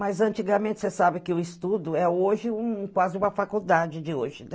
Mas, antigamente, você sabe que o estudo é hoje quase um uma faculdade de hoje, né?